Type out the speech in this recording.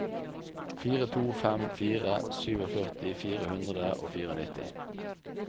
fire to fem fire førtisju fire hundre og nittifire